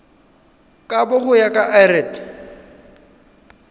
kabo go ya ka lrad